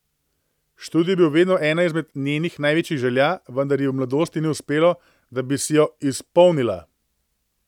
Študij je bil vedno ena izmed njenih največjih želja, vendar ji v mladosti ni uspelo, da bi si jo izpolnila.